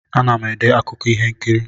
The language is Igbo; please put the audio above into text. Ana m ede akụkọ ihe nkiri.